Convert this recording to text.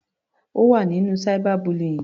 Ó wà nínú cyber bullying.